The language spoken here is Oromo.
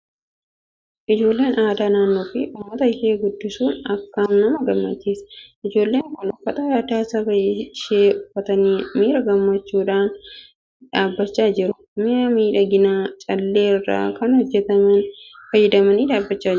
Ijoollee aadaa naannoo fi uummata isheen guddisuun akkam nama gammachiisa! Ijoollonni kun uffata aadaa saba ishee uffatanii miira gammachuudhaan dhaabachaa jiru. Mi'a miidhaginaa callee irraa kan hojjetameen faayamanii dhaabbachaa jiru.